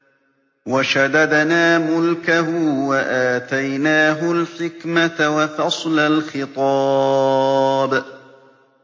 وَشَدَدْنَا مُلْكَهُ وَآتَيْنَاهُ الْحِكْمَةَ وَفَصْلَ الْخِطَابِ